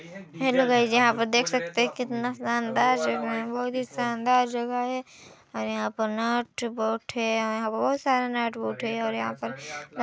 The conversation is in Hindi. हैलो गाइस यहाँ पे देख सकते है कितना शानदार जगह है बहुत ही शानदार जगह है और यहाँ पर नटबोल्ट है और यहाँ पर बहुत सारे नटबोल्ट है और यहाँ पर--